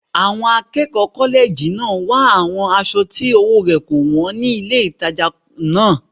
Àwọn akẹ́kọ̀ọ́ kọ́lẹ́ẹ̀jì náà wá àwọn aṣọ tí ọwọ́ rẹ̀ kò wọ́n ní ilé ìtajà náà